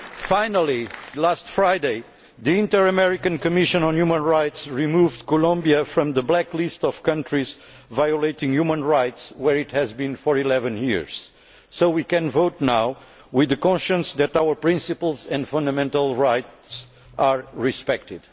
Finally, last Friday the Inter American Commission on Human Rights removed Colombia from the Black List of countries violating human rights, which it has been on for eleven years, so we can vote now with the knowledge that our principles and fundamental rights are respected.